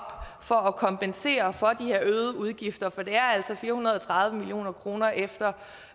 for at kompensere for de her øgede udgifter for det er altså fire hundrede og tredive million kroner efter